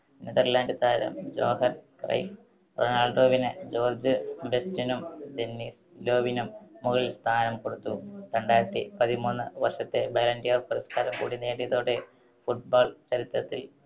Netherland താരം Johan Cruyff റൊണാൾഡോവിന് George ബെസ്റ്റ്നും ഡെന്നിസ് ലോവിനും മുകളിൽ സ്ഥാനം കൊടുത്തു. രണ്ടായിരത്തി പതിമൂന്ന് വർഷത്തെ ബാലൻ ഡിയൊർ പുരസ്കാരം കൂടി നേടിയതോടെ football ചരിത്രത്തിൽ